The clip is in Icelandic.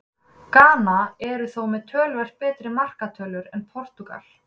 Gana eru þó með töluvert betri markatölu en Portúgal.